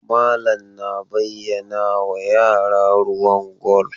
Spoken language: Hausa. Malam na bayyanawa yara ruwan gwal.